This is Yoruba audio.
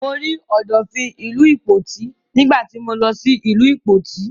Mo rí Ọ̀dọ̀fin ìlú Ìpoti nígbà tí mọ lọ ìlú Ìpoti.